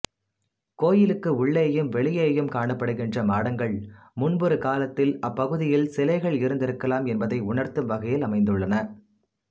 கோயிலுக்கு உள்ளேயும் வெளியேயும் காணப்படுகின்ற மாடங்கள் முன்பொரு காலத்தில் அப்பகுதியில் சிலைகள் இருந்திருக்கலாம் என்பதை உணர்த்தும் வகையில் அமைந்துள்ளன